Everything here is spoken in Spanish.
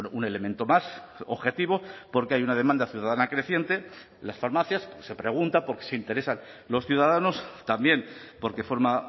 un elemento más objetivo porque hay una demanda ciudadana creciente las farmacias se pregunta porque se interesan los ciudadanos también porque forma